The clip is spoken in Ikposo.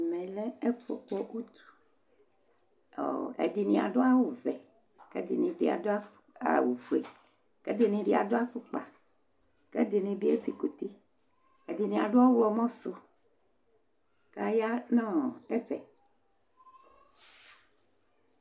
ɛmɛlɛ ɛfʊ tɛ uti, aluɛdɩnɩ adʊ awuvɛ, ɛdɩnɩ adʊ awu fue, kʊ ɛdɩnɩ adʊ ɛlɛnuti, ɛdɩnɩ ezikuti, ɛdɩnɩ adʊ ɔwlɔmɔ su, kʊ aya nʊ ɛfɛ